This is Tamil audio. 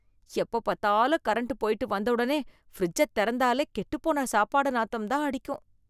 எப்ப பாத்தாலும் கரண்ட் போயிட்டு வந்தவுடனே ஃபிரிட்ஜ தெறந்தாலே கெட்டுப் போன சாப்பாடு நாத்தம்தான் அடிக்கும்